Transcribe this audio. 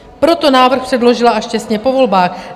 Proto návrh předložila až těsně po volbách.